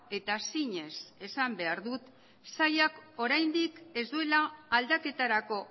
eta zinez esan behar dut sailak oraindik ez duela aldaketarako